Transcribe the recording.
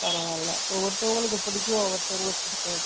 பரவால ஒவ்வொருதவங்களுக்கு புடிக்கும் ஒவ்வொருதவங்களுக்கு பிடிக்காது